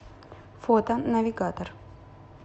фото навигатор